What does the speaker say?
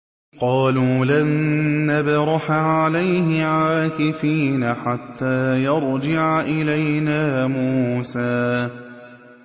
قَالُوا لَن نَّبْرَحَ عَلَيْهِ عَاكِفِينَ حَتَّىٰ يَرْجِعَ إِلَيْنَا مُوسَىٰ